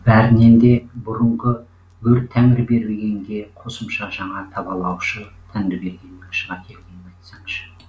бәрінен де бұрынғы өр тәңірбергенге қосымша жаңа табалаушы тәңірбергеннің шыға келгенін айтсаңшы